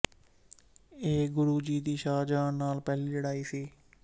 ਇਹ ਗੁਰੂ ਜੀ ਦੀ ਸ਼ਾਹਜਹਾਂ ਨਾਲ ਪਹਿਲੀ ਲੜਾਈ ਸੀ